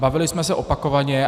Bavili jsme se opakovaně.